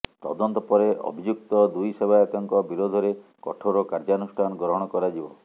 ତଦନ୍ତ ପରେ ଅଭିଯୁକ୍ତ ଦୁଇ ସେବାୟତଙ୍କ ବିରୋଧରେ କଠୋର କାର୍ଯ୍ୟାନୁଷ୍ଠାନ ଗ୍ରହଣ କରାଯିବ